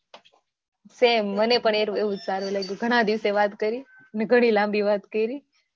same મને પણ એવુજ સારું લાગ્યું ઘણા દિવસે વાત કરી અને ઘણી લાંબી વાત કરી